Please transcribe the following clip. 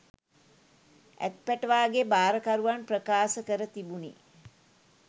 ඇත්පැටවාගේ භාරකරුවන් ප්‍රකාශ කර තිබුණි